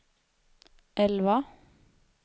elva